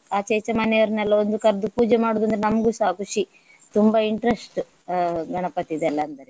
ಆಚೆ ಈಚೆ ಮನೆಯವರನ್ನೆಲ್ಲ ಒಂದು ಕರ್ದು ಪೂಜೆ ಮಾಡುವುದು ಅಂದ್ರೆ ನಮ್ಗುಸ ಖುಷಿ ತುಂಬಾ interest ಗಣಪತಿದೆಲ್ಲ ಅಂದರೆ.